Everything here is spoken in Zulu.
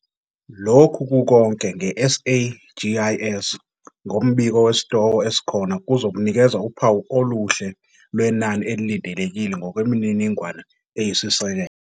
Lokhu kukonke nge-SAGIS ngombiko wesitoko esikhona kuzokunikeza uphawu oluhle lwenani elilindelekile ngokwemininingwane eyisisekelo.